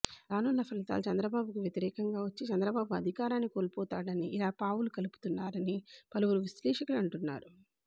రానున్న ఫలితాలు చంద్రబాబు కి వ్యతిరేకంగా వచ్చి చంద్రబాబు అధికారాన్ని కోల్పోతాడనే ఇలా పావులు కలుపుతున్నారని పలువురు విశ్లేషకులు అంటున్నారు